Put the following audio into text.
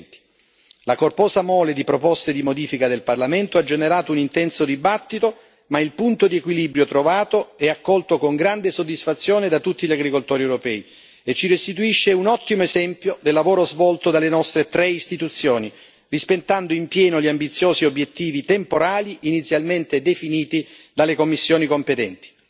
2020. La corposa mole di proposte di modifica del Parlamento ha generato un intenso dibattito, ma il punto di equilibrio trovato è accolto con grande soddisfazione da tutti gli agricoltori europei, e ci restituisce un ottimo esempio del lavoro svolto dalle nostre tre istituzioni, rispettando in pieno gli ambiziosi obiettivi temporali inizialmente definiti dalle commissioni competenti.